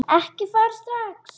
Ekki fara strax!